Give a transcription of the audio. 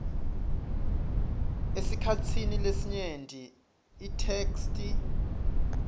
esikhatsini lesinyenti itheksthi